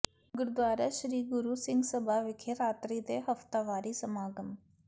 ਗੁਰਦੁਆਰਾ ਸ੍ਰੀ ਗੁਰੂ ਸਿੰਘ ਸਭਾ ਵਿਖੇ ਰਾਤਰੀ ਦੇ ਹਫ਼ਤਾਵਾਰੀ ਸਮਾਗਮ